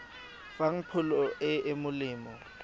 fang pholo e e molemo